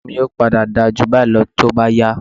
Sóbò mi yóò padà dáa jù báyìí lọ tó bá yá